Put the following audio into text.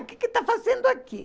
O que que está fazendo aqui?